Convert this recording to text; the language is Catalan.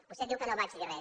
vostè diu que no vaig dir res